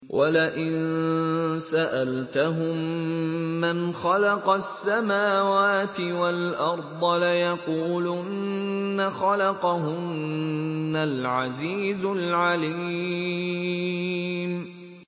وَلَئِن سَأَلْتَهُم مَّنْ خَلَقَ السَّمَاوَاتِ وَالْأَرْضَ لَيَقُولُنَّ خَلَقَهُنَّ الْعَزِيزُ الْعَلِيمُ